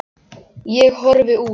Ég horfi út.